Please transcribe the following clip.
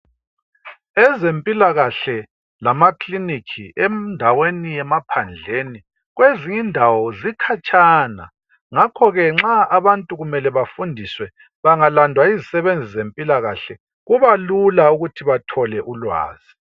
Ezempilakahle lamakiliniki endaweni yemaphandleni kwezinye indawo zikhatshana ngakhoke nxa abantu kumelee befundiswe bangalandwa yizisebenzi zempilakahle kubalula ukuthi bethole ulwazi